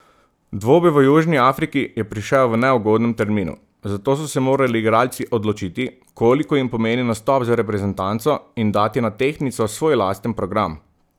Dvoboj v Južni Afriki je prišel v neugodnem terminu, zato so se morali igralci odločiti, koliko jim pomeni nastop za reprezentanco, in dati na tehtnico svoj lasten program.